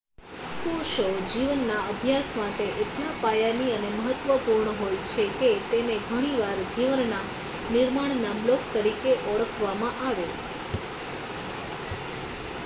કોષો જીવનના અભ્યાસ માટે એટલા પાયાની અને મહત્ત્વપૂર્ણ હોય છે કે તેને ઘણી વાર જીવનના નિર્માણ ના બ્લોક તરીકે ઓળખવામાં આવે